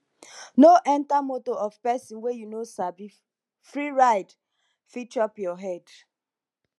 no enter motor of pesin wey you no sabi free ride fit chop your head